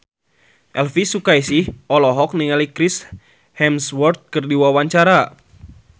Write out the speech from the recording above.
Elvy Sukaesih olohok ningali Chris Hemsworth keur diwawancara